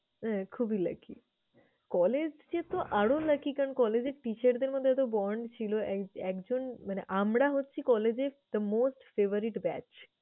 হ্যাঁ খুবই lucky collage যেহেতু আরো lucky কারণ collage এ teacher দের মধ্যে এতো bond ছিল এক একজন মানে আমরা হচ্ছি collage এর the most favourite batch